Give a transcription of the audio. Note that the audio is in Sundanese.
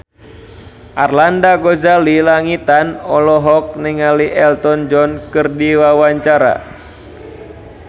Arlanda Ghazali Langitan olohok ningali Elton John keur diwawancara